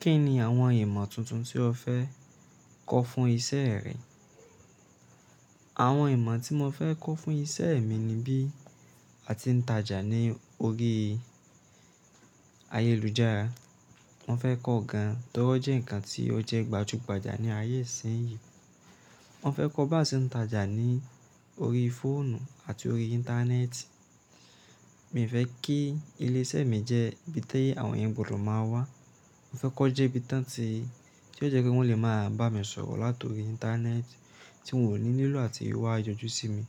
Kí ni àwọn ìmọ̀ tuntun tí o fẹ́ kọ́ fún iṣẹ́ rẹ? Àwọn ìmọ̀ tí mo fẹ́ kọ́ fún iṣẹ́ mi ni bí a ti ń tajà ní orí ayélujára. Mo fẹ́ kọ́ gan torí ó jẹ́ nǹkan tí ó jẹ́ gbajúgbajà ní ayé ìsínyi. Mo fẹ́ kọ́ bá ṣe ń tajà ní orí fóònù àti orí íńtánẹ́ẹ̀tì. Mì fẹ́ kí ilé iṣẹ́ mi jẹ́ ibi ti yẹ àwọn èeyàn gbọdọ máa wá. Mo fẹ́ kí ó jẹ́ ibi tan ti tí ó jẹ́ pé wọ́n lè máa bá mi sọ̀rọ̀ látọ̀rí íńtánẹ́ẹ̀tì tí wọn ò ní lílò àti wá yanjú sí mi.